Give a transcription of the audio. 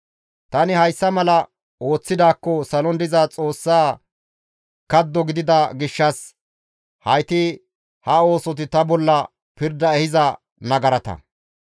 Tani hayssa mala ooththidaakko salon diza xoossa kaddo gidida gishshas hayti ha oosoti ta bolla pirda ehiza nagarata.